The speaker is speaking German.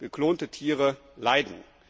Geklonte Tiere leiden.